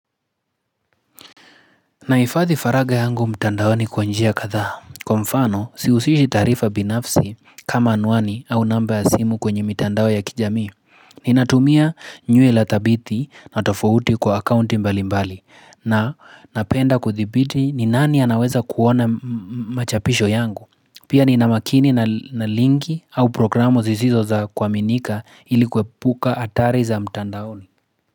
Naifadhi faraga yangu mtandao ni kwanjia katha. Kwa mfano, siusishi tarifa binafsi kama anwani au namba ya simu kwenye mitandao ya kijami. Ninatumia nyue la thabithi na tofauti kwa akaunti mbali mbali. Na napenda kuthibiti ni nani anaweza kuona machapisho yangu. Pia ninamakini na lingi au programo zizizo za kwa minika ilikuwe puka atari za mtandao ni.